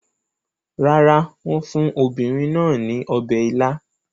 Rárá, wọ́n fún obìnrin náà ní ọbẹ̀ ila.